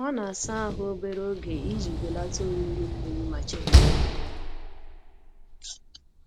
Ọ na-asa ahụ obere oge iji belata oriri mmiri ma chekwaa ya